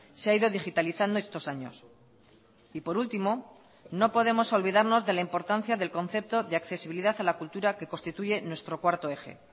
se ha ido digitalizando estos años y por último no podemos olvidarnos de la importancia del concepto de accesibilidad a la cultura que constituye nuestro cuarto eje